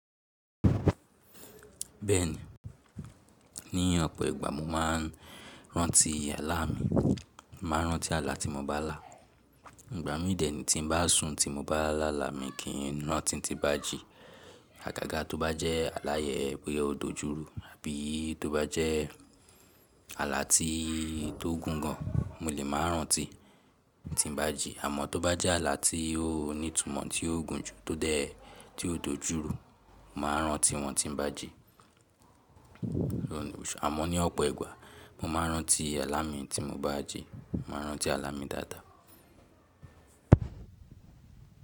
Bẹ́ẹ̀ni, ní ọ̀pọ̀ ìgbà mo máa ń rántí àlá mi, máa rántí àlá tí mo bá lá. Ìgbà mídì ní tí n bá sùn tí mo bá lá àlá mi kì í rántí tí bá jī. Àgàgà tó bá jẹ́ àlá yen pé ó dojúru àbí tó bá jẹ́ àlá tí ó gùn gan, mo lè máa rántí tí n bá jī. Àmọ́ tó bá jẹ́ àlá tí ó ní ìtumọ́ tí ó gùn jù tó dé tí ó dojúru, máa rántí wọn tí n bá jī. Àmọ́ ní ọ̀pọ̀ ìgbà mo máa n rántí àlá mi tí n bá jī, máa rántí àlá mi dáadáa.